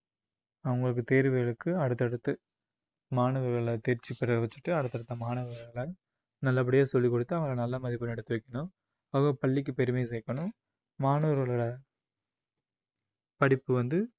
அவங்களுக்கு தேர்வுகளுக்கு அடுத்தடுத்து மாணவர்களை தேர்ச்சி பெற வச்சுட்டு அடுத்தடுத்த மாணவர்கள நல்ல படியா சொல்லிக் கொடுத்து அவங்களை நல்ல மதிப்பெண் எடுத்து வைக்கணும் அவங்க பள்ளிக்கு பெருமை சேர்க்கணும் மாணவர்களோட படிப்பு வந்து